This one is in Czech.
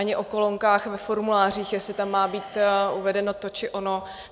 Ani o kolonkách ve formulářích, jestli tam má být uvedeno to, či ono.